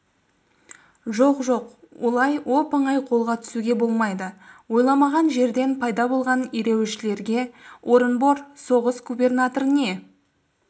жоқ жоқ олай оп-оңай қолға түсуге болмайды ойламаған жерден пайда болған ереуілшілерге орынбор соғыс губернаторы не